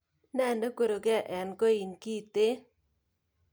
Ne nekweruke en koin kiten?